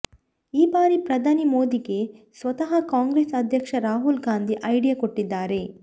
ಈ ಬಾರಿ ಪ್ರಧಾನಿ ಮೋದಿಗೆ ಸ್ವತಃ ಕಾಂಗ್ರೆಸ್ ಅಧ್ಯಕ್ಷ ರಾಹುಲ್ ಗಾಂಧಿ ಐಡಿಯಾ ಕೊಟ್ಟಿದ್ದಾರೆ